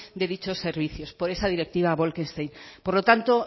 de dichos servicios por esa directiva bolkestein por lo tanto